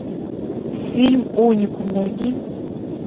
фильм уникум найди